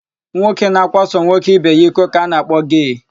Nwoke na-akwaso nwoke ibe ya iko ka a na-akpọ gee.